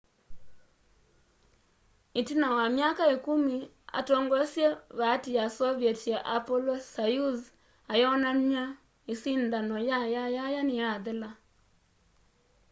itina wa myaka ikumi atongoesye vaati ya soviet ya apollo-soyuz ayonany'a isindano ya yayaya niyathela